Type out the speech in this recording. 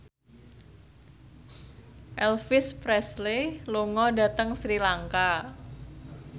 Elvis Presley lunga dhateng Sri Lanka